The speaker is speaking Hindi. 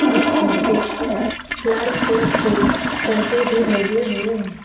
और पीछे कुछ लाल कलर के पर्दे भी लगे हुए हैं।